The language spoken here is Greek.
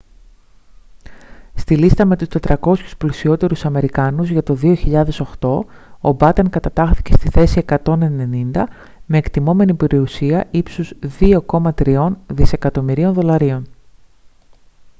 στη λίστα με τους 400 πλουσιότερους αμερικάνους για το 2008 ο batten κατατάχθηκε στη θέση 190 με εκτιμώμενη περιουσία ύψους 2,3 δισεκατομμυρίων δολαρίων